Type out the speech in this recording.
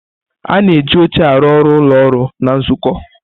Ana eji oche aru ọrụ ụlọọrụ na nzukọ.